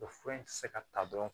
O fura in tɛ se ka ta dɔrɔn